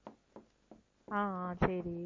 ஆஹ் ஆஹ் சரி